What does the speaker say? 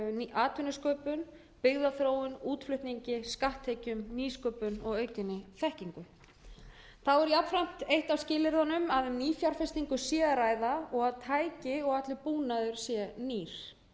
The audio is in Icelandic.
atvinnusköpun byggðaþróun útflutningi skatttekjum nýsköpun og aukinni þekkingu þá er jafnframt eitt af skilyrðunum að um nýfjárfestingu sé að ræða og að tæki og allur búnaður sé nýr þá er